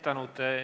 Tänud!